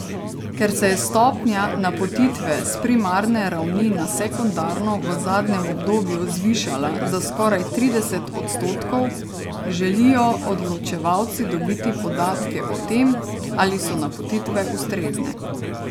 Ker se je stopnja napotitve s primarne ravni na sekundarno v zadnjem obdobju zvišala za skoraj trideset odstotkov, želijo odločevalci dobiti podatke o tem, ali so napotitve ustrezne.